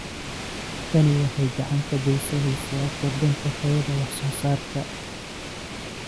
Tani waxay gacan ka geysaneysaa kordhinta tayada wax soo saarka.